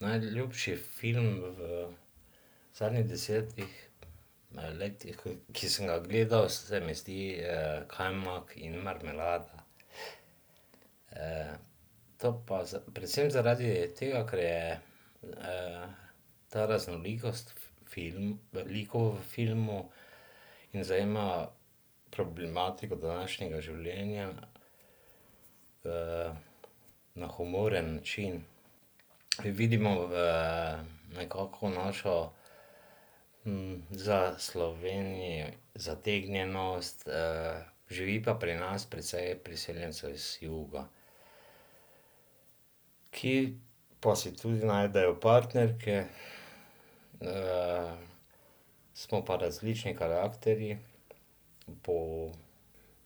najljubši film v zadnjih desetih letih, ki sem ga gledal, se mi zdi, Kajmak in marmelada. to pa predvsem zaradi tega, ker je, ta raznolikost likov v filmu in zajema problematiko današnjega življenja, na humoren način. Vidimo v nekako našo, za Slovenijo zategnjenost, živi pa pri nas precej priseljencev iz juga, ki pa si tudi najdejo partnerke. smo pa različni karakterji po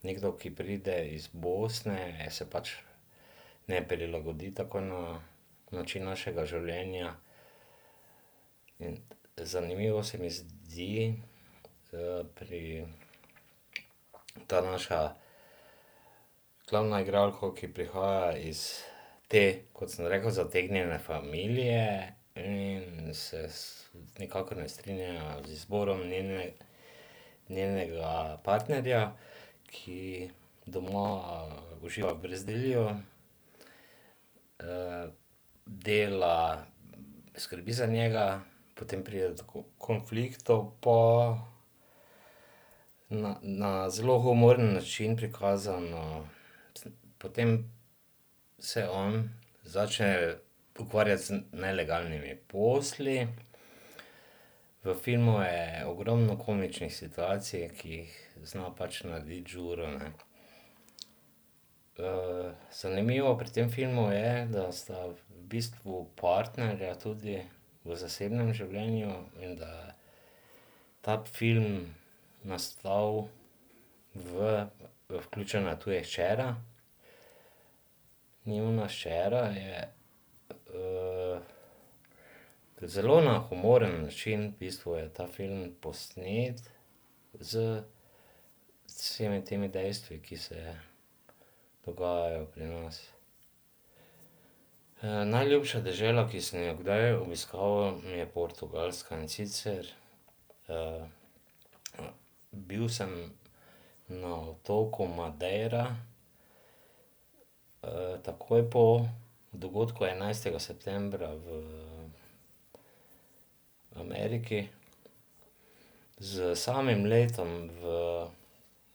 nekdo, ki pride iz Bosne, se pač ne prilagodi takoj na način našega življenja in zanimivo se mi zdi, pri ta naša glavna igralka, ki prihaja iz te, kot sem rekel, zategnjene familije in se nikakor ne strinjajo z izborom njene, njenega partnerja, ki doma uživa v brezdelju. dela, skrbi za njega, potem pride do konfliktov pa na, na zelo humoren način prikazano. Potem se on začne ukvarjati z nelegalnimi posli. V filmu je ogromno komičnih situacij, ki jih zna pač narediti Ðuro, ne. zanimivo pri tem filmu je, da sta v bistvu partnerja tudi v zasebnem življenju in da je ta film nastal v, vključena je hčera, njuna hčera je. zelo na humoren način v bistvu je ta film posnet z vsemi temi dejstvi, ki se dogajajo pri nas. najljubša dežela, ki sem jo kdaj obiskal, mi je Portugalska. In sicer, bil sem na otoku Madeira, takoj po dogodku enajstega septembra v Ameriki. S samim letom v,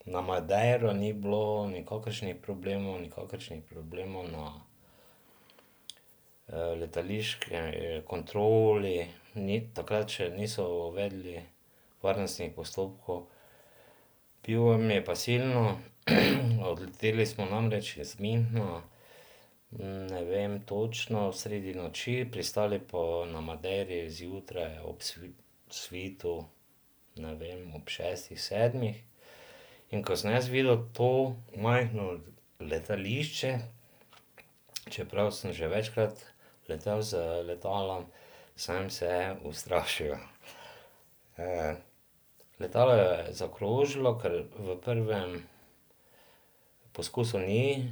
na Madeiro ni bilo nikakršnih problemov, nikakršnih problemov na, letališki kontroli, takrat še niso uvedli varnostnih postopkov. Pivo mi je pa silno. Odleteli smo namreč iz Münchna, ne vem točno, sredi noči, pristali pa na Madeiri zjutraj ob svitu, ne vem, ob šestih, sedmih. In ko sem jaz videl to majhno letališče, čeprav sem že večkrat letel z letalom, sem se ustrašil. letalo je zakrožilo, ker v prvem poskusu ni,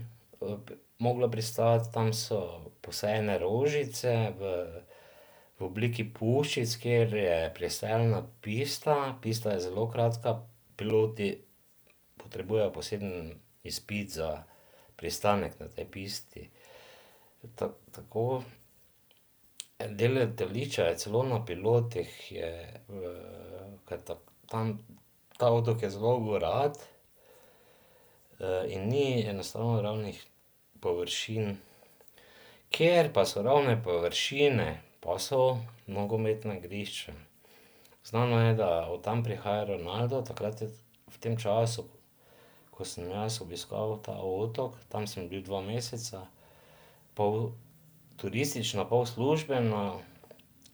moglo pristati, tam so posajene rožice v v obliki puščic, kjer je pristajalna pista. Pista je zelo kratka, piloti potrebujejo poseben izpit za pristanek na tej pisti. tako, del letališča je celo na pilotih, je v ta otok je zelo gorat, in ni enostavno ravnih površin. Kjer pa so ravne površine, pa so nogometna igrišča. Znano je, da od tam prihaja Ronaldo. Takrat je v tem času, ko sem jaz obiskal ta otok, tam sem bil dva meseca, pol turistično, pol službeno,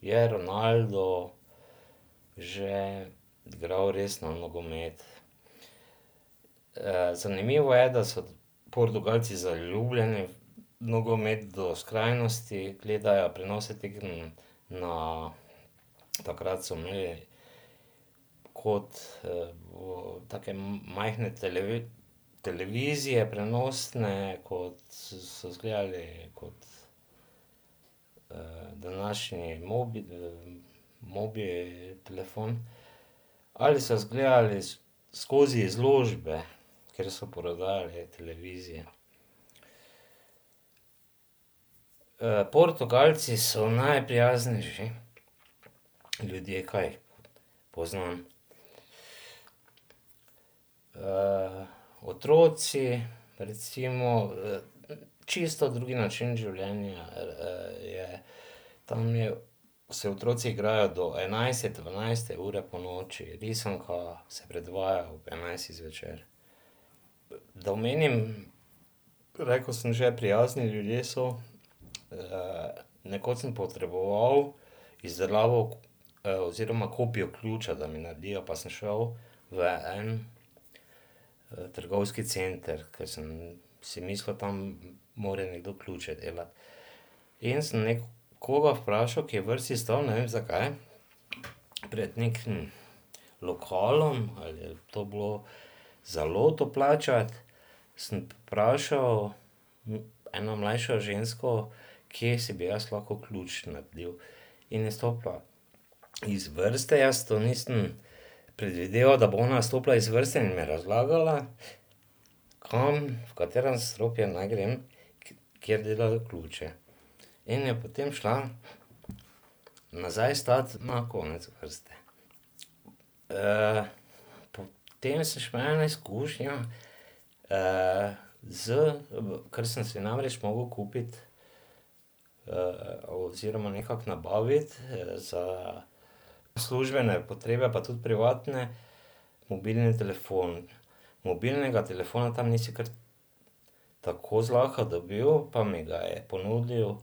je Ronaldo že igral resno nogomet. zanimivo je, da so Portugalci zaljubljeni v nogomet do skrajnosti, gledajo prenose tekem na, takrat so imeli, kot, take majhne televizije, prenosne, kot so zgledali kot današnji mobi telefon, ali so izgledali skozi izložbe, kjer so prodajali televizije. Portugalci so najprijaznejši ljudje, kaj jih poznam. otroci recimo, čisto drugi način življenja, je. Tam je, se otroci igrajo do enajste, dvanajste ure ponoči. Risanka se predvaja ob enajstih zvečer. Da omenim, rekel sem že, prijazni ljudje so. nekoč sem potreboval izdelavo, oziroma kopijo ključa, da mi naredijo. Pa sem šel v en, trgovski center, ker sem si mislil, tam mora nekdo ključe delati. In sem nekoga vprašal, ki je v vrsti stal, ne vem, zakaj, pred nekim lokalom, ali je to bilo za loto plačati, sem vprašal eno mlajšo žensko, kje si bi jaz lahko ključ naredil. In je stopila iz vrste, jaz to nisem predvideval, da bo ona stopila iz vrste in mi razlagala, kam, v katero nadstropje naj grem, kjer delajo ključe. In je potem šla nazaj stat na konec vrste. potem sem še imel eno izkušnjo, z, ker sem si namreč mogel kupiti, oziroma nekako nabaviti, za službene potrebe, pa tudi privatne, mobilni telefon. Mobilnega telefona tam nisi kar tako zlahka dobil, pa mi ga je ponudil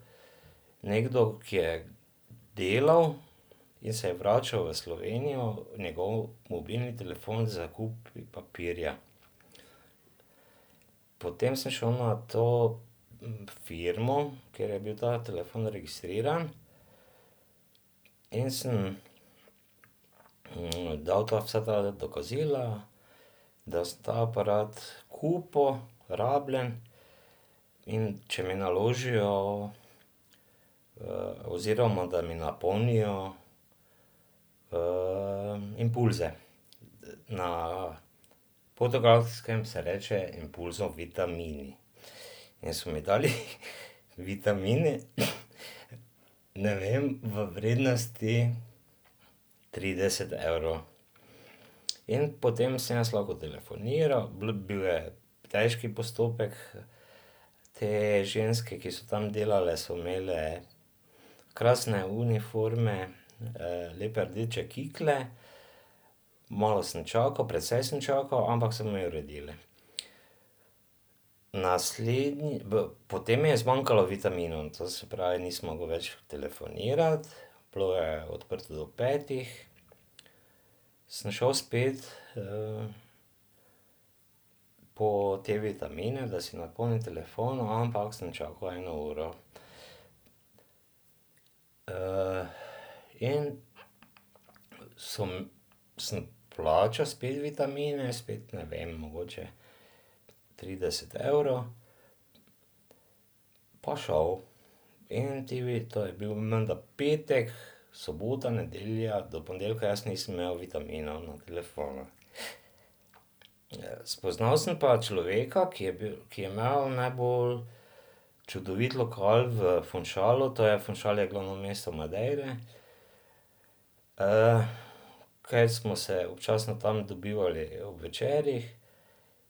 nekdo, ki je delal in se je vračal v Slovenijo, njegov mobilni telefon s kupi papirja. Potem smo šli na to firmo, kjer je bil ta telefon registriran, in sem, dal ta vsa ta dokazila, da sem ta aparat kupil, rabljen, in če mi naložijo, oziroma da mi napolnijo, impulze. Na Portugalskem se reče impulzom vitamini. In so mi dali vitamine, ne vem, v vrednosti trideset evrov. In potem sem jaz lahko telefoniral, bil je težek postopek, te ženske, ki so tam delale, so imele krasne uniforme, lepe rdeče kikle. Malo sem čakal, precej sem čakal, ampak so mi uredili. Naslednji, v potem je zmanjkalo vitaminov, to se pravi, nisem mogel več telefonirati. Bilo je odprto do petih, sem šel spet, po te vitamine, da si napolnim telefon, ampak sem čakal eno uro. in so sem plačal spet vitamine, spet, ne vem, mogoče trideset evrov, pa šel. In ti to je bil menda petek, sobota, nedelja, do ponedeljka jaz nisem imel vitaminov na telefonu. Spoznal sem pa človeka, ki je ki je imel najbolj čudovit lokal v Funchalu, to je, Funchal je glavno mesto Madeire, ker smo se občasno tam dobivali ob večerih,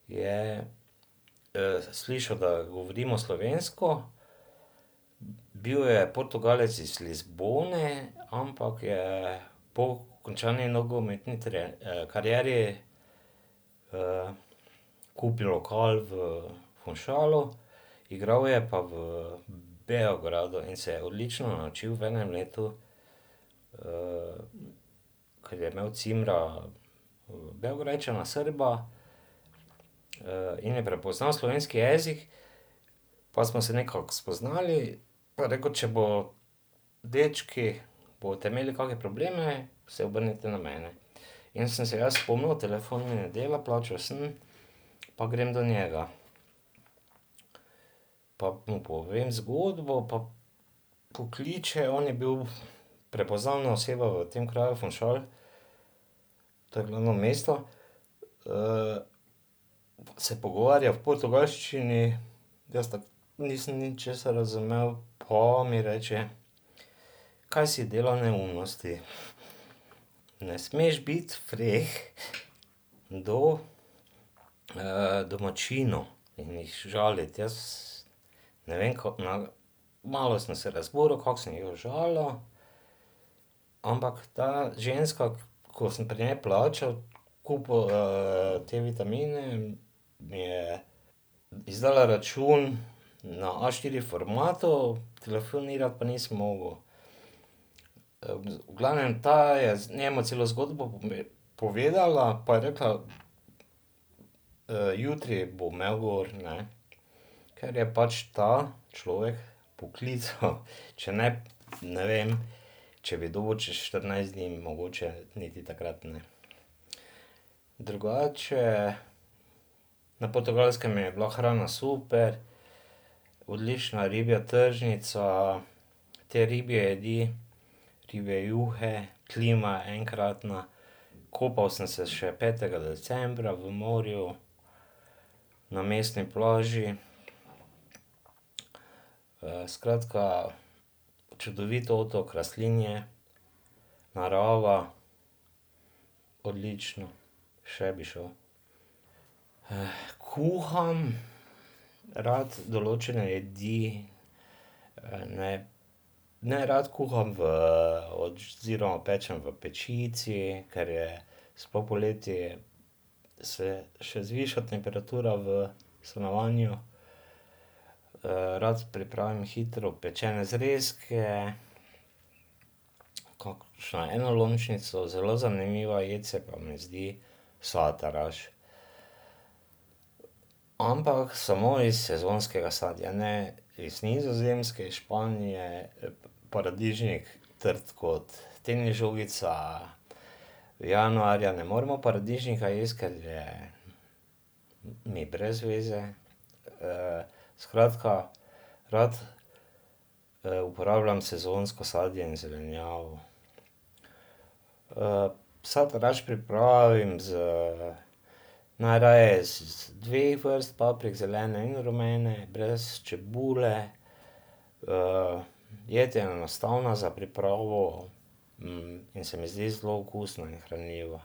je, slišal, da govorimo slovensko, bil je Portugalec iz Lizbone, ampak je po končani nogometni karieri, kupili lokal v Funchalu. Igral je pa v Beogradu in se je odlično naučil v enem letu, ker je imel cimra Beograjčana, Srba, in je prepoznal slovenski jezik. Pa smo se nekako spoznali, pa je rekel, če bo, dečki, boste imeli kake probleme, se obrnite na mene. In sem se jaz spomnil, telefon mi ne dela, plačal sem, pa grem do njega. Pa mu povem zgodbo pa pokliče, on je bil prepoznavna oseba v tem kraju Funchal, to je glavno mesto, se pogovarja v portugalščini, jaz tako nisem ničesar razumel, pa mi reče: "Kaj si delal neumnosti? Ne smeš biti freh do, domačinov in jih žaliti." Jaz ne vem, na malo sem se razburil, kako sem jih užalil, ampak ta ženska, ko sem pri njej plačal, kupil, te vitamine, mi je izdala račun na a štiri formatu, telefonirati pa nisem mogel. V glavnem ta je njemu celo zgodbo povedala, pa je rekla: jutri bo imel gor, ne." Ker je pač ta človek poklical, če ne, ne vem, če bi dobil čez štirinajst dni, mogoče niti takrat ne. Drugače na Portugalskem je bila hrana super. Odlična ribja tržnica, te ribje jedi, ribje juhe. Klima je enkratna. Kopal sem se še petega decembra v morju na mestni plaži. skratka čudovit otok, rastlinje, narava. Odlično. Še bi šel. kuham rad določene jedi, ne nerad kuham v oziroma pečem v pečici, ker je, sploh poleti se še zviša temperatura v stanovanju. rad pripravim hitro pečene zrezke, kakšno enolončnico, zelo zanimiva jed se pa mi zdi sataraš. Ampak samo iz sezonskega sadja, ne iz Nizozemske, iz Španije paradižnik, trd kot tenis žogica, januarja ne moremo paradižnika jesti, ker je mi brez veze. skratka rad, uporabljam sezonsko sadje in zelenjavo. sataraš pripravim iz, najraje iz dveh vrst paprik, zelene in rumene, brez čebule. jed je enostavna za pripravo, in se mi zdi zelo okusna in hranljiva.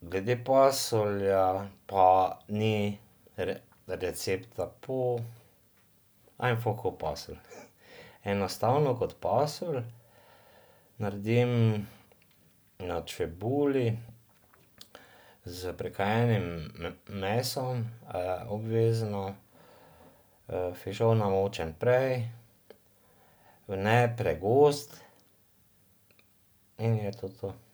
Glede pasulja pa ni recepta, po ajnfah ko pasulj. Enostavno kot pasulj, naredim na čebuli s prekajenim mesom, obvezno. fižol namočim prej, v ne pregost, in je to to.